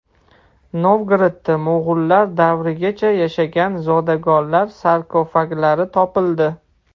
Novgorodda mo‘g‘ullar davrigacha yashagan zodagonlar sarkofaglari topildi.